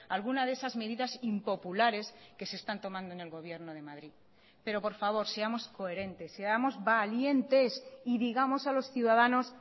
alguna de esas medidas impopulares que se están tomando en el gobierno de madrid pero por favor seamos coherentes seamos valientes y digamos a los ciudadanos